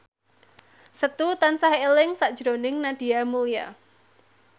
Setu tansah eling sakjroning Nadia Mulya